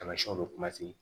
Tamasiyɛnw bɛ